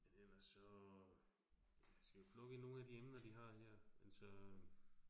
Ellers så, ja skal vi plukke i nogle af de emner, vi har her, altså